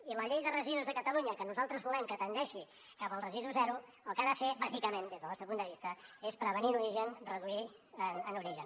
i la llei de residus de catalunya que nosaltres volem que tendeixi cap al residu zero el que ha de fer bàsicament des del nostre punt de vista és prevenir en origen reduir en origen